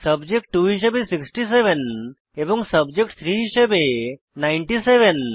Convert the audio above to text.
subject 2 হিসাবে 67 এবং subject 3 হিসাবে 97